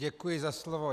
Děkuji za slovo.